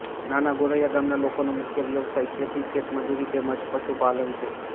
નાના ગોરૈયા ગામના લોકોનો મુખ્ય વ્યવસાય ખેતી ખેતમજૂરી તેમ જ પશુપાલન છે